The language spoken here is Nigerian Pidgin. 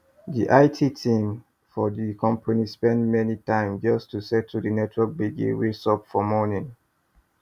the it team for the company spend many time just to settle the network gbege wey sup for morning